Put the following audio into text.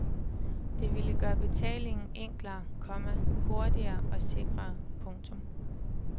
Det ville gøre betaling enklere, komma hurtigere og sikrere. punktum